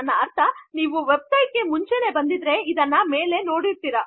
ನನ್ನ ಅರ್ಥ ನೀವು ವೆಬ್ ಸೈಟ್ಗೆ ಮುಂಚೆನೂ ಬಂದಿದ್ದರೆ ಇದನ್ನು ಮೇಲೆ ನೋಡಿರುತ್ತಿರ